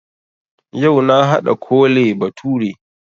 Yau na haɗa Kole bature